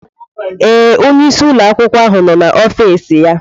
Ee, onyeisi ụlọ akwụkwọ ahụ nọ na ofis ya.